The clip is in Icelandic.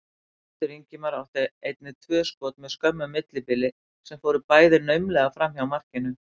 Baldur Ingimar átti einnig tvö skot með skömmu millibili sem fóru bæði naumlega framhjá markinu.